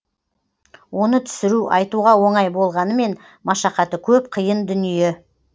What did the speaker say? оны түсіру айтуға оңай болғанымен машақаты көп қиын дүние